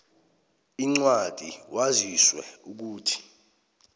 incwadi waziswe ukuthi